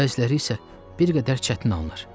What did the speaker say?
bəziləri isə bir qədər çətin alınır.